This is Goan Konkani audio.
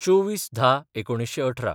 २४/१०/१९१८